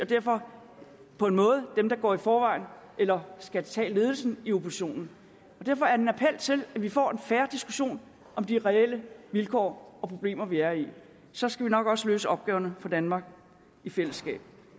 derfor på en måde dem der går i forvejen eller skal tage ledelsen i oppositionen derfor er til at vi får en fair diskussion af de reelle vilkår og problemer vi er i så skal vi nok også løse opgaverne for danmark i fællesskab